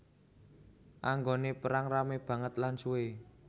Anggone perang rame banget lan suwe